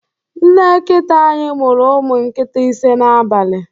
Nne nkita anyị mụru umụ nkịta ise n'abalị.